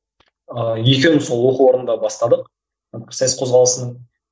ыыы екеуміз сол оқу орнында бастадық пікірсайыс қозғалысын